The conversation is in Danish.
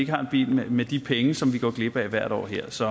har en bil med de penge som vi går glip af hvert år her så